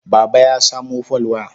Baba ya samo folwaya.